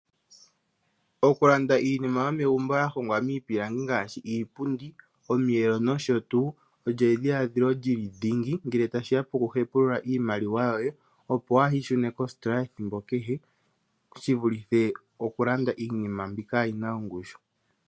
Okulanda iinima yomegumbo ya hongwa miipilangi ngaashi, iipundi, omiyelo, nosho tuu, olyo edhiladhilo lyili dhingi ngele tashiya pokuhepulula iimaliwa yoye, opo waa ishune kositola ethimbo kehe, shi vulithe okulanda iinima mbi kaayina ongushu.